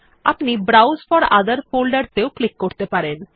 আপনি browse for ওঠের folders এও ক্লিক করতে পারেন